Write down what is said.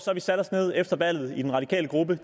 har vi sat os ned efter valget i den radikale gruppe